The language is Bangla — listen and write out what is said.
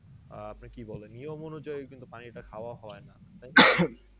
আহ আপনি কি বলেন নিয়ম অনুযায়ী কিন্তু পানি টা খাওয়া হয়না তাই